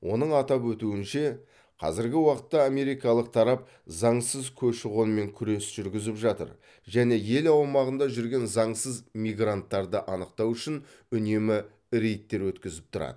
оның атап өтуінше қазіргі уақытта америкалық тарап заңсыз көші қонмен күрес жүргізіп жатыр және ел аумағында жүрген заңсыз мигранттарды анықтау үшін үнемі рейдтер өткізіп тұрады